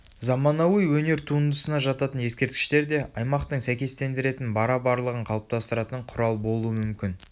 заманауи өнер туындысына жататын ескерткіштер де аймақтың сәйкестендіретін бара барлығын қалыптастыратын құрал болуы мүмкін